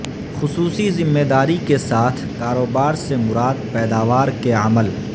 خصوصی ذمہ داری کے ساتھ کاروبار سے مراد پیداوار کے عمل